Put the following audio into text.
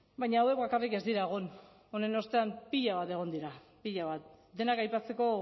baina hauek bakarrik ez dira egon honen ostean pila bat egon dira pila bat denak aipatzeko